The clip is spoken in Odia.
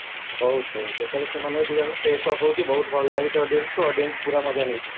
ବହୁତ ବହୁତ ଯେତେବେଳେ ସେମାନେ ବହୁତ ଭଲ ଲାଗିଛି audience ଙ୍କୁ audience ପୁରା ମଜା ନେଇଛନ୍ତି